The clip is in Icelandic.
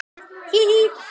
Hí, hí.